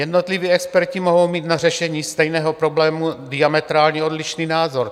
Jednotliví experti mohou mít na řešení stejného problému diametrálně odlišný názor.